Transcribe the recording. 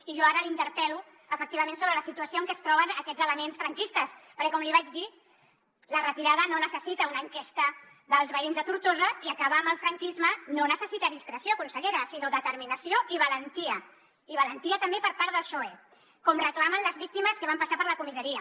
i jo ara la interpel·lo efectivament sobre la situació en què es troben aquests elements franquistes perquè com li vaig dir la retirada no necessita una enquesta dels veïns de tortosa i acabar amb el franquisme no necessita discreció consellera sinó determinació i valentia i valentia també per part del psoe com reclamen les víctimes que van passar per la comissaria